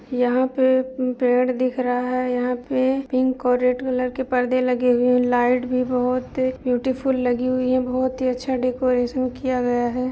यहाँ पर पेड़ दिख रहा हैं यहाँ पर पिंक और रेड कलर के परदे लगे हुए हैं लाइट भी बोहोत ही ब्यूटीफुल लगी हुई है बोहोत ही अच्छा डेकोरेशन किया गया है।